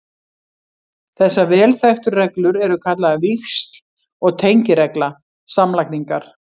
Þessar vel þekktu reglur eru kallaðar víxl- og tengiregla samlagningar.